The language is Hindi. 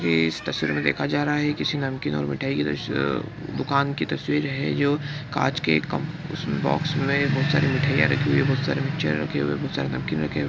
ये इस तस्वीर मे देखा जा रहा है की किसी नमकीन और मिठाई की दुकान की तस्वीर है जो कांच के एक उसके बॉक्स मे बहुत सारी मिठाईया रखी हुई हैं बहुत सारे रखे हुए है बहुत सारे नमकीन रखे हुवे हैं।